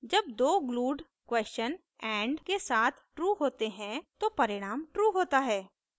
जब दो glued question and के साथ true होते हैं तो परिणाम true होता है